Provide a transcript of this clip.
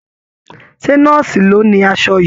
Ṣé nọ́ọ̀sì ló ni aṣọ yìí?